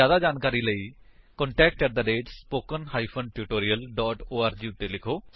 ਜਿਆਦਾ ਜਾਣਕਾਰੀ ਲਈ ਕ੍ਰਿਪਾ contact at spoken hyphen tutorial dot org ਉੱਤੇ ਲਿਖੋ